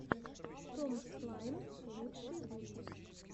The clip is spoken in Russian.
том слайм лучший выпуск